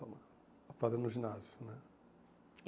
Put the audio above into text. Amaro. A fase no ginásio, né?